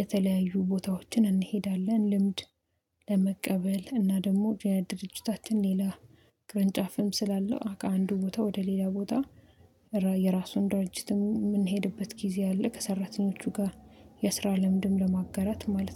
የተለያዩ ቦታዎችን እንሄዳለን፤ ልምድ ለመቀበል እና ደግሞ የድርጅታችን ሌላ ቅርንጫፍም ስላለው አንዱ ቦታ ወደ ሌላ ቦታ የራሱን ድርጅትም የምንሄድበት ጊዜ አለ። ከሰራተኞቹ ጋር የስራ ልምድም ለማገራት ማለት ነው።